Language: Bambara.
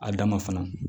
A da ma fana